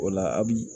O la a bi